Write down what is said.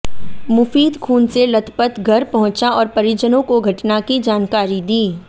मुफीद खून से लथपथ घर पहुंचा और परिजनों को घटना की जानकारी दी